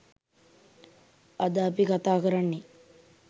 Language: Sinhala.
අද අපි කතා කරන්නේ